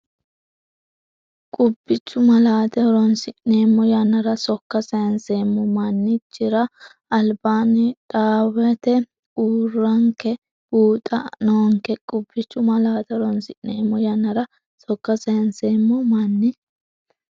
Qubbichu malaate horoonsi’neemmo yannara sokka sayinseemmo man- chira albaanni dhaawate uurranke buuxa noonka Qubbichu malaate horoonsi’neemmo yannara sokka sayinseemmo man-.